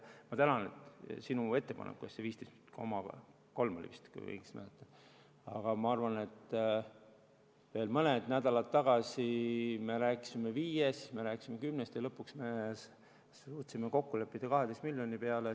Ma tänan sind ettepaneku eest, see oli vist 15,3 miljonit, kui ma õigesti mäletan, aga ma arvan, et veel mõned nädalad tagasi me rääkisime 5 miljonist, siis me rääkisime 10-st ja lõpuks me suutsime kokku leppida 12 miljoni peale.